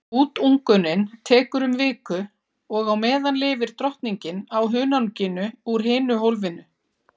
Útungunin tekur um viku og á meðan lifir drottningin á hunanginu úr hinu hólfinu.